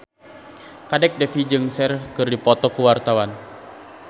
Kadek Devi jeung Cher keur dipoto ku wartawan